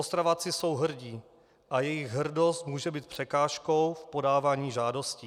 Ostraváci jsou hrdí a jejich hrdost může být překážkou v podávání žádostí.